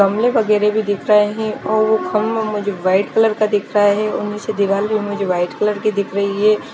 गमले वगेरे भी दिख रहे है और कमरा मुझे वाइट कलर का दिख रहा है और उसमे दिवार भी मुझे वाइट कलर की दिख रही है।